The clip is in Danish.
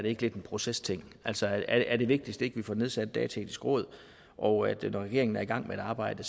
ikke lidt en procesting altså er det vigtigste ikke at vi får nedsat et dataetisk råd og når regeringen er i gang med et arbejde